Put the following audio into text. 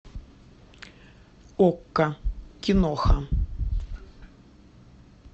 окко киноха